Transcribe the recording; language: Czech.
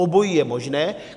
Obojí je možné.